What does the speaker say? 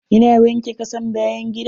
Ina wanke kasan bayan gidan.